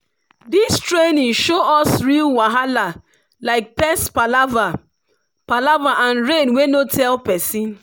this training show us real wahala like pest palava palava and rain wey no tell person.